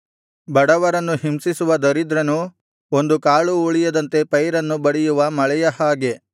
ಬಡವರನ್ನು ಹಿಂಸಿಸುವ ದರಿದ್ರನು ಒಂದು ಕಾಳೂ ಉಳಿಯದಂತೆ ಪೈರನ್ನು ಬಡಿಯುವ ಮಳೆಯ ಹಾಗೆ